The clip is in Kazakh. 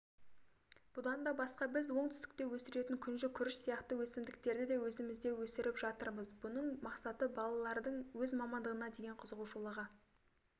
бұдан да басқа біз оңтүстікте өсіретін күнжі күріш сияқты өсімдіктерді де өзімізде өсіріп жатырмыз бұның мақсаты балалардың өз мамандығына деген қызығушылығын